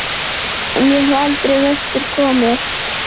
En ég hef aldrei vestur komið.